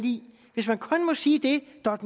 hvis man kun må sige det der er